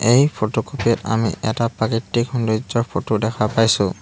এই ফটোকপি ত আমি এটা প্ৰাকৃতিক সৌন্দৰ্য্যৰ ফটো দেখা পাইছোঁ।